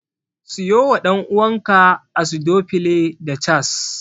Siyo wa ɗan'uwanka Acidophile da Chaas.